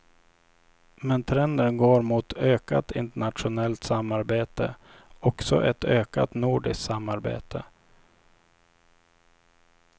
Men trenden går mot ökat internationellt samarbete, också ett ökat nordiskt samarbete.